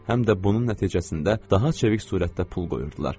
Həm də bunun nəticəsində daha çevik surətdə pul qoyurdular.